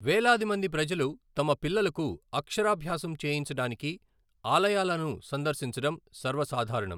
వేలాది మంది ప్రజలు తమ పిల్లలకు అక్షరాభ్యాసం చేయించడానికి ఆలయాలను సందర్శించడం సర్వసాధారణం.